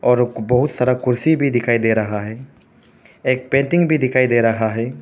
और बहुत सारा कुर्सी भी दिखाई दे रहा है एक पेंटिंग भी दिखाई दे रहा है।